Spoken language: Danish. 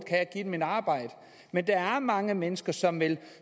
give dem et arbejde men der er mange mennesker som vil